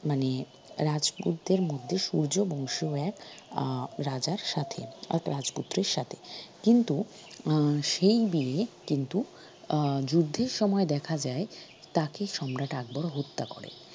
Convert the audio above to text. মানে রাজপুতদের মধ্যে সূর্য বংশীয় এক আহ রাজার সাথে বা রাজপুত্রের সাথে কিন্তু আহ সেই বিয়ে কিন্তু আহ যুদ্ধের সময় দেখা যায় তাকে সম্রাট আকবর হত্যা করে।